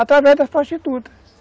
Através das prostitutas.